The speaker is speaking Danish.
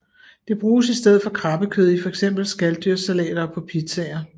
Det bruges i stedet for krabbekød i fx skaldyrssalater og på pizzaer